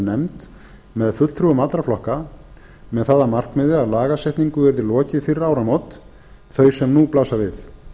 nefnd með fulltrúum allra flokka með það að markmiði að lagasetningu yrði lokið fyrir áramót þau sem nú blasa við